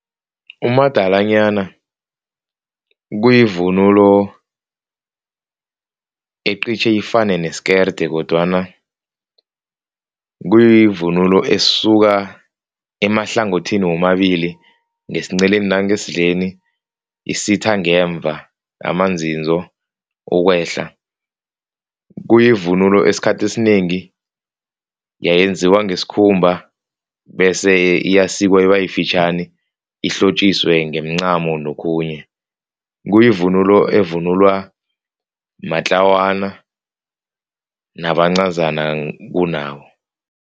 Umadalanyana kuyivunulo ecitjhe ifane nesikerde kodwana kuyivunulo esuka, emahlangothini womabili ngesinceleni nangesidleni isitha ngemva amanzinzo ukwehla. Kuyivunulo esikhathini esinengi yeyenziwa ngesikhumba bese iyasikwa ibe yifitjhani. Ihlotjiswe ngemincamo nokhunye. Kuyivunulo evunulwa matlawana nabancazana kunabo.